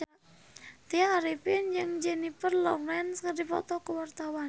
Tya Arifin jeung Jennifer Lawrence keur dipoto ku wartawan